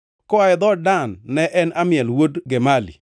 koa e dhood Dan, ne en Amiel wuod Gemali;